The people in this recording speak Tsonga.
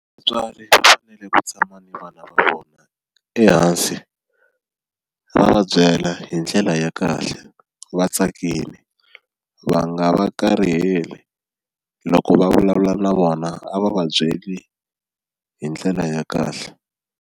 Vatswari va fanele ku tshama ni vana va vona ehansi va va byela hi ndlela ya kahle va tsakile va nga va kariheli loko va vulavula na vona a va va byeli hi ndlela ya kahle.